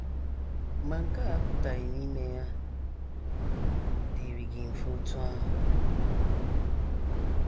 Ma nke a apụtachaghị na ime ya dịịrị gị mfe otú ahụ.